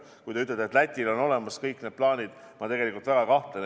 Kui te ütlete, et Lätil on olemas kõik plaanid, siis selles ma tegelikult väga kahtlen.